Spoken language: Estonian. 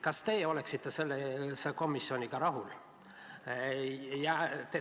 Kas teie oleksite sellise komisjoniga rahul?